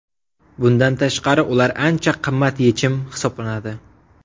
Bundan tashqari, ular ancha qimmat yechim hisoblanadi.